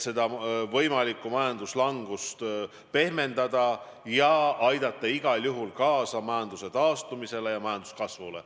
Me tahame võimalikku majanduslangust pehmendada ja aidata igal juhul kaasa majanduse taastumisele ja kasvule.